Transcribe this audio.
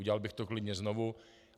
Udělal bych to klidně znovu.